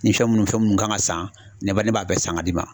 Ni fɛn munnu fɛn munnu kan ka san ne ba ne b'a bɛɛ san ka d'i ma.